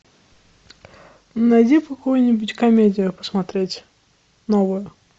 найди какую нибудь комедию посмотреть новую